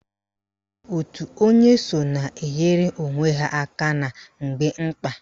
Òtù onye so na-enyere onwe ha aka na mgbe mkpa